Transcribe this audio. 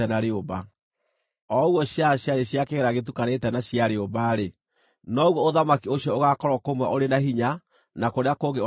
O ũguo ciara ciarĩ cia kĩgera gĩtukanĩte na cia rĩũmba-rĩ, noguo ũthamaki ũcio ũgaakorwo kũmwe ũrĩ na hinya na kũrĩa kũngĩ ũgathuthĩkanga.